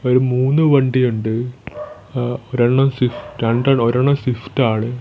ഒരു മൂന്ന് വണ്ടിയുണ്ട് എഹ് ഒരണ്ണം സ്വിഫ് രണ്ട് ഒരെണ്ണം സിഫ്റ്റ് ആണ്.